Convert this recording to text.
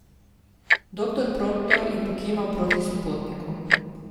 Doktor Proktor je pokimal proti sopotniku.